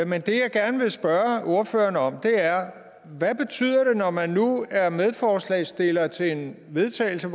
men det jeg gerne vil spørge ordføreren om er hvad betyder det når man nu er medforslagsstiller af til vedtagelse